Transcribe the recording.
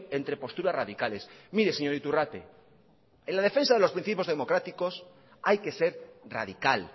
entre posturas radicales mire señor iturrate en la defensa de los principios democráticos hay que ser radical